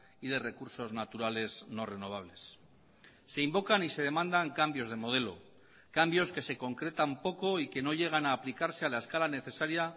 y de recursos naturales no renovables se invocan y se demandan cambios de modelo cambios que se concretan poco y que no llegan a aplicarse a la escala necesaria